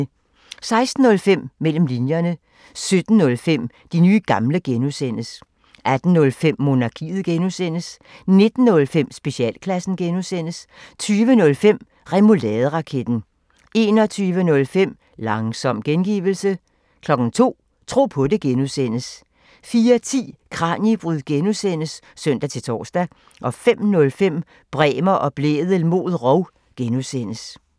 16:05: Mellem linjerne 17:05: De nye gamle (G) 18:05: Monarkiet (G) 19:05: Specialklassen (G) 20:05: Remouladeraketten 21:05: Langsom gengivelse 02:00: Tro på det (G) 04:10: Kraniebrud (G) (søn-tor) 05:05: Bremer og Blædel mod rov (G)